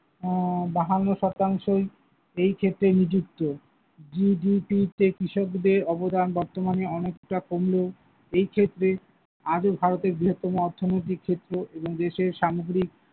আহ বাহান্ন শতাংশই এই ক্ষেত্রে নিযুক্ত, GDP তে কৃষকদের অবদান বর্তমানে অনেকটা কমলেও, এইক্ষেত্রে আজও ভারতের বৃহত্তম অর্থনৈতিক ক্ষেত্র এবং দেশের সামগ্রিক।